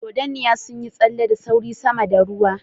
Dragonflies darted swiftly above the water